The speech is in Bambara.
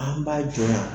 An b'a jɔ